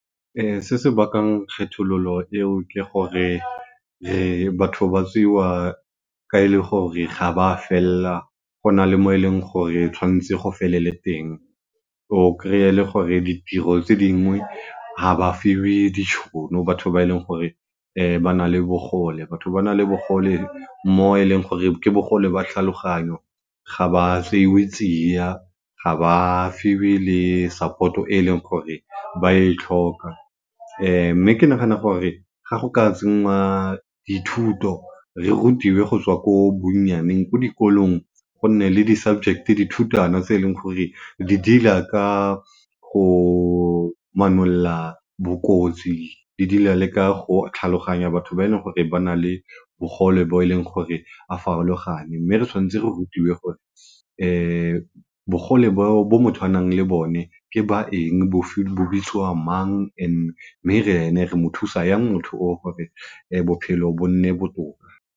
Se se bakang kgethololo eo ke gore batho ba tseiwa ka e le gore ga ba fella go na le mo e leng gore tshwanetse go felele teng. O kry-e le gore ditiro tse dingwe ga ba fiwe ditšhono batho ba e leng gore batho ba na le bogole. Batho ba na le bogole mo e leng gore ke bogole ba tlhaloganyo ga ba tseiwe tsiya, ga ba fiwe le support-o e e leng gore ba yo e tlhoka mme ke nagana gore ga go ka tsenngwa dithuto re rutiwe go tswa ko bonnyaneng, ko dikolong go nne le di-subject, dithutwana tse e leng gore di deal-a ka go bokotsi, di deal-a le ka go tlhaloganya batho ba e leng gore ba na le bogole bo e leng gore a farologane mme re tshwanetse re rutiwe gore bogole bo motho a nang le bone ke ba eng, bofeng, bo bitsiwa mang mme ene remo thusa yang motho yo bophelo bo nne botoka.